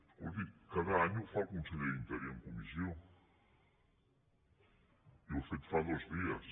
escolti’m cada any ho fa el conseller d’interior en comissió i ho ha fet fa dos dies